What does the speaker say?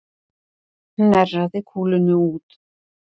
Hnerraði kúlunni út